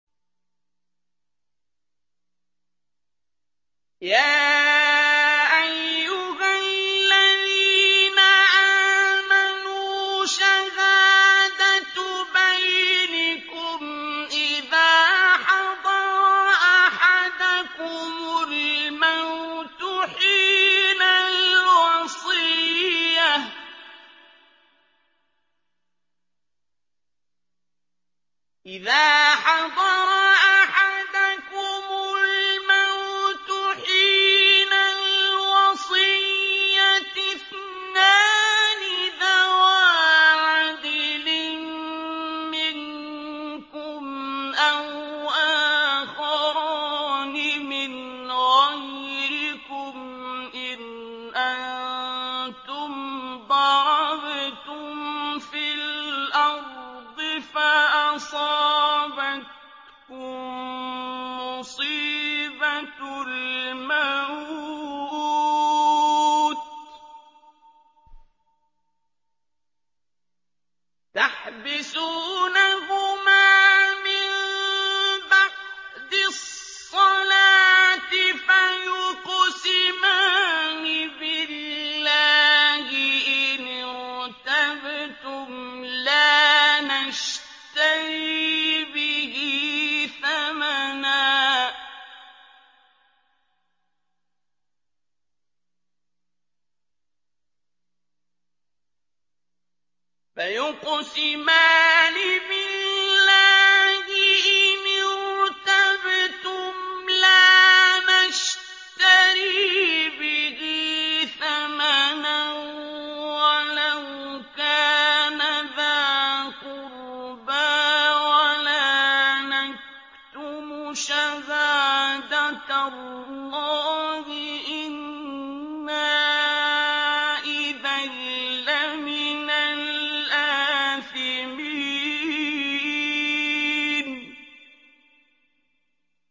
يَا أَيُّهَا الَّذِينَ آمَنُوا شَهَادَةُ بَيْنِكُمْ إِذَا حَضَرَ أَحَدَكُمُ الْمَوْتُ حِينَ الْوَصِيَّةِ اثْنَانِ ذَوَا عَدْلٍ مِّنكُمْ أَوْ آخَرَانِ مِنْ غَيْرِكُمْ إِنْ أَنتُمْ ضَرَبْتُمْ فِي الْأَرْضِ فَأَصَابَتْكُم مُّصِيبَةُ الْمَوْتِ ۚ تَحْبِسُونَهُمَا مِن بَعْدِ الصَّلَاةِ فَيُقْسِمَانِ بِاللَّهِ إِنِ ارْتَبْتُمْ لَا نَشْتَرِي بِهِ ثَمَنًا وَلَوْ كَانَ ذَا قُرْبَىٰ ۙ وَلَا نَكْتُمُ شَهَادَةَ اللَّهِ إِنَّا إِذًا لَّمِنَ الْآثِمِينَ